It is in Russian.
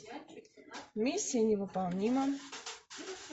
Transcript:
миссия невыполнима